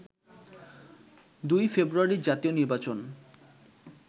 ২ ফেব্রুয়ারির জাতীয় নির্বাচন